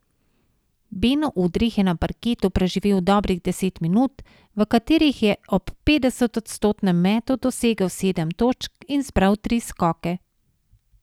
Beno Udrih je na parketu preživel dobrih deset minut, v katerih je ob petdesetodstotnem metu dosegel sedem točk in zbral tri skoke.